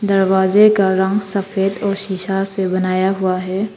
दरवाजे का रंग सफेद और शिशा से बनाया हुआ है।